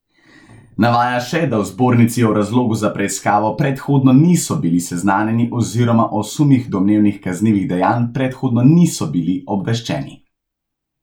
Navaja še, da v zbornici o razlogu za preiskavo predhodno niso bili seznanjeni oziroma o sumih domnevnih kaznivih dejanj predhodno niso bili obveščeni.